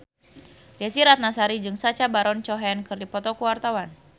Desy Ratnasari jeung Sacha Baron Cohen keur dipoto ku wartawan